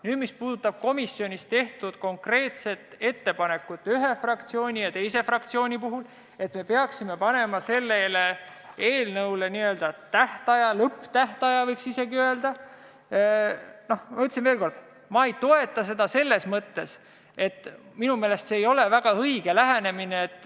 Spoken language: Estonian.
Nüüd, mis puudutab komisjonis tehtud konkreetset ettepanekut, et peaksime sellele eelnõule panema n-ö tähtaja, võiks isegi öelda lõpptähtaja, siis ma ütlen veel kord, et ma ei toeta seda selles mõttes, et minu meelest see ei ole väga õige lähenemine.